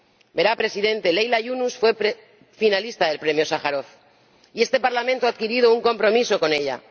Verá, Presidente Leyla Yunus fue finalista del Premio Sájarov y este Parlamento ha adquirido un compromiso con ella.